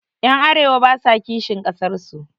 Ƴan arewa basa kishin ƙasar su